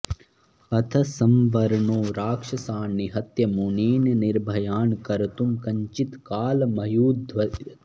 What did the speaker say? अथ संवरणो राक्षसान् निहत्य मुनीन् निर्भयान् कर्तुं कञ्चित् कालमयुध्यत